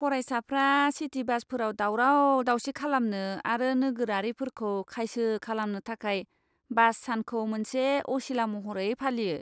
फरायसाफ्रा सिटि बासफोराव दावराव दावसि खालामनो आरो नोगोरारिफोरखौ खायसो खालामनो थाखाय बास सानखौ मोनसे असिला महरै फालियो।